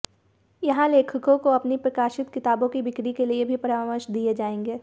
यहां लेखकों को अपनी प्रकाशित किताबों की बिक्री के लिए भी परामर्श दिए जाएंगे